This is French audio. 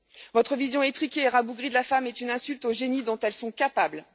Votre vision étriquée et rabougrie de la femme est une insulte au génie dont elles sont capables.